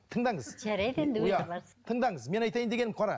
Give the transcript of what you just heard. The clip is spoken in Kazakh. тыңдаңыз тыңдаңыз мен айтайын дегенім қара